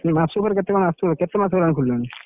ମାସ ଉପରେ କେତେ କଣ ଆସୁଛି କେତେ ମାସ ହବ ଖୋଲିଲାଣି?